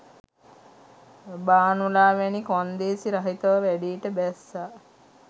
භානුලා වැනි කොන්දේසි රහිතව වැඩේට බැස්ස